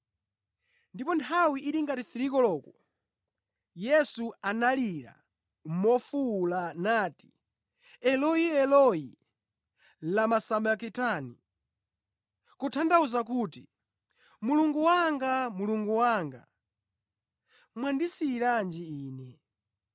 Ndipo nthawi ili ngati 3 koloko, Yesu analira mofuwula nati, “Eloi, Eloi, lama sabakitani!” Kutanthauza kuti, “Mulungu Wanga, Mulungu Wanga, mwandisiyiranji Ine?”